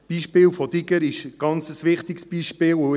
Das Beispiel von Digger ist ein ganz wichtiges Beispiel.